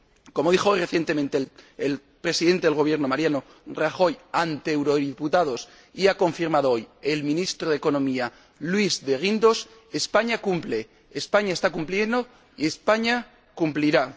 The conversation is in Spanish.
Como dijo recientemente el Presidente del Gobierno español, Mariano Rajoy, ante eurodiputados y ha confirmado hoy el Ministro de Economía, Luis de Guindos, España cumple, España está cumpliendo y España cumplirá.